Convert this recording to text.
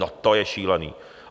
No to je šílený.